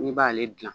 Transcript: N'i b'ale dilan